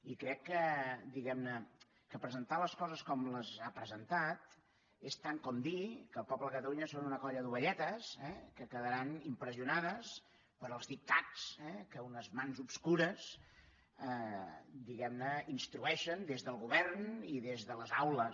i crec que diguemne presentar les coses com les ha presentat és tant com dir que el poble de catalunya és una colla d’ovelletes eh que quedaran impressionades pels dictats que unes mans obscures instrueixen des del govern i des de les aules